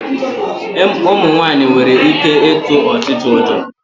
Ụmụ nwaanyị nwere ike ịtụ ọchịcha ụjọ.